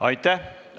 Aitäh!